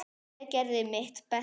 Ég gerði mitt besta.